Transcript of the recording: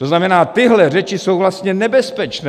To znamená, tyhle řeči jsou vlastně nebezpečné!